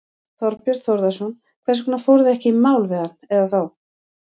Þorbjörn Þórðarson: Hvers vegna fóruð þið ekki í mál við hann eða þá?